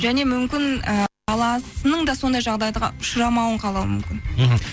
және мүмкін і баласының да сондай жағдайға ұшырамауын қалауы мүмкін мхм